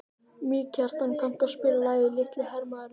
Mýrkjartan, kanntu að spila lagið „Litli hermaðurinn“?